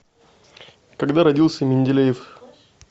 когда родился менделеев